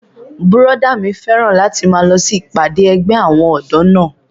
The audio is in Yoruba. Bùrọ̀dá mi fẹ́ràn láti máa lọ sí ìpàdé ẹgbẹ́ àwọn ọ̀dọ́ náà